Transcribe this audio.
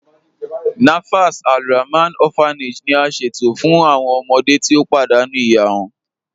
Nafas Alrahman Orphanage ni a ṣẹto fun awọn ọmọde ti o padànú iya wọn.